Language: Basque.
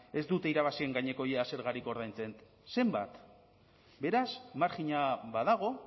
ez dute irabazien gaineko ia zergarik ordaintzen zenbat beraz marjina badago